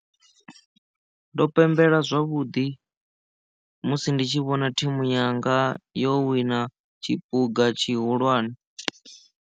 Ndo pembela zwavhuḓi musi ndi tshi vhona thimu yanga yo wina tshiphuga tshihulwane.